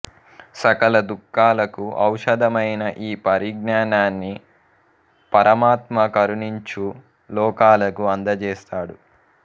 సకల దుఃఖాలకు ఔషధమైన ఈ పరిజ్ఞానాన్ని పరమాత్మ కరుణించు లోకాలకు అందజేస్తాడు